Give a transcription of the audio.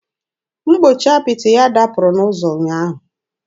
Mgbochi apịtị ya dapụrụ n'ụzọ ụnyaahụ.